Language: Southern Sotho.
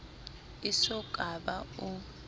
e so ka ba o